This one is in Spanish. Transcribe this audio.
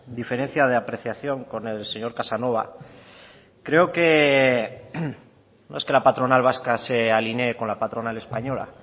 diferencia de apreciación con el señor casanova creo que no es que la patronal vasca se alinee con la patronal española